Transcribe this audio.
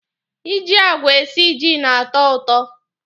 I ji àgwà esi ji na-atọ ụtọ.